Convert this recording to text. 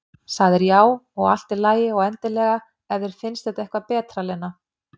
Sagðir já, og allt í lagi, og endilega, ef þér finnst það eitthvað betra, Lena.